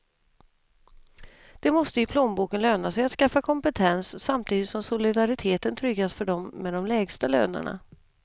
Det måste i plånboken löna sig att skaffa kompetens, samtidigt som solidariteten tryggas för dem med de lägsta lönerna.